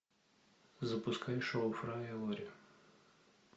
запускай шоу фрая и лори